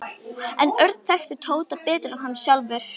En Örn þekkti Tóta betur en hann sjálfur.